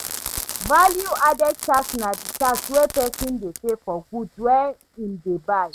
Value added tax na di tax wey person dey pay for goods wey im dey buy